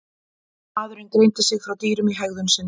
Maðurinn greindi sig frá dýrum í hegðun sinni.